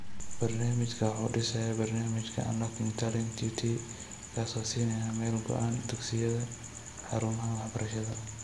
Barnaamijkani waxa uu dhisayaa barnaamijka Unlocking Talent (UT), kaas oo siinaya meel u go'an dugsiyada (xarumaha waxbarashada).